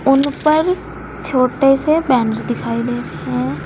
उन पर छोटे से पैन्ट दिखाई दे रहे हैं।